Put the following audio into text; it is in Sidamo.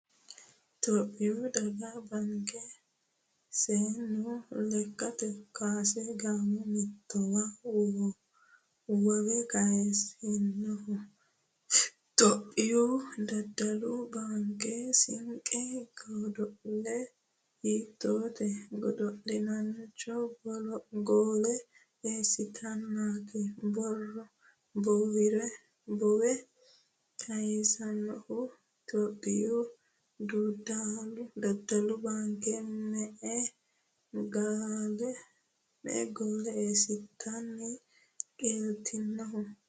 Itiyophiyu daddalu baanke seennu lekkate kaase gaamo mamoteeti woowe kayissinohu ? Itiyophiyu daddalu baanke seennu godo'le hiitti godo'laancho goole eessiteennaati Boowe kayissinohu ? Itiyophiyu daddalu baanke me'e goole eessiteeti qeeltinohu ?